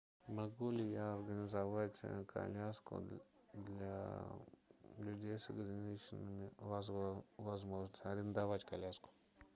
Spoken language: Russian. могу ли я организовать коляску для людей с ограниченными возможностями арендовать коляску